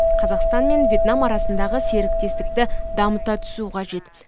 қазақстан мен вьетнам арасындағы серіктестікті дамыта түсу қажет